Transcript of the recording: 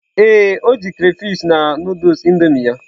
Ee, o ji crayfish na Nụdụls Indomie ya.